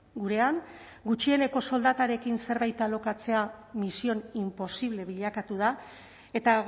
gurean gutxieneko soldatarekin zerbait alokatzea misión imposible bilakatu da eta